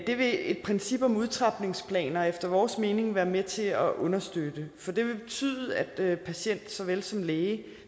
det vil et princip om udtrapningsplaner efter vores mening være med til at understøtte for det vil betyde at patienten såvel som lægen